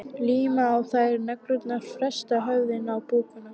Líma á þær neglurnar, festa höfuðin á búkana.